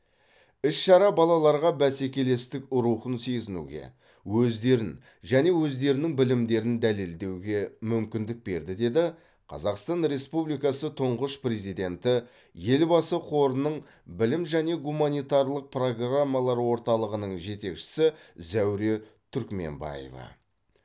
іс шара балаларға бәсекелестік рухын сезінуге өздерін және өздерінің білімдерін дәлелдеуге мүмкіндік берді деді қазақстан республикасы тұңғыш президенті елбасы қорының білім және гуманитарлық программалар орталығының жетекшісі зәуре түркменбаева